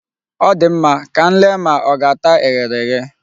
Ọ dị mma, ka m lee ma ọ ga-ata eghere eghe.